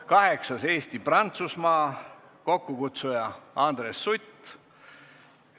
Kaheksandaks, Eesti-Prantsusmaa, kokkukutsuja on Andres Sutt.